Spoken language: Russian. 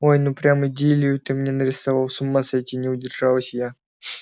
ой ну прям идиллию ты мне нарисовал с ума сойти не удержалась я